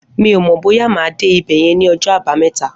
Mi ó mọ bóyà má dé ibẹ̀yẹ̀n ni ọjọ àbàámẹ̀tá